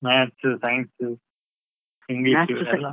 Maths, Science, English ಎಲ್ಲಾ.